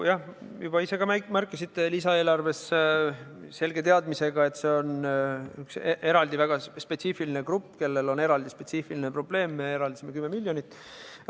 Jah, nagu te ise juba märkisite, selge teadmisega, et see on üks väga spetsiifiline grupp, kellel on spetsiifiline probleem, me eraldasime lisaeelarves 10 miljonit.